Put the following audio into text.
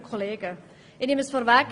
Ich nehme es vorweg: